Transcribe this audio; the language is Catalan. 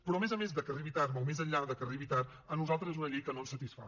però a més a més de que arribi tard o més enllà de que arribi tard a nosaltres és una llei que no ens satisfà